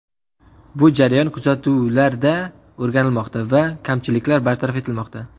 Bu jarayon kuzatuvlarda o‘rganilmoqda va kamchiliklar bartaraf etilmoqda.